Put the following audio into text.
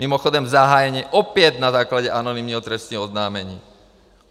Mimochodem zahájené opět na základě anonymního trestního oznámení.